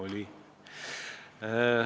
Oli.